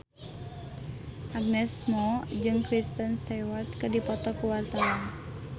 Agnes Mo jeung Kristen Stewart keur dipoto ku wartawan